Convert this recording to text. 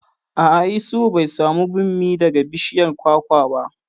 A'a, Isuhu bai samu bammi daga bishiyar kwakwa ba